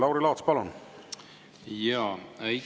Lauri Laats, palun!